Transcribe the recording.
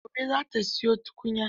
Gobe za ta siyo tukunya.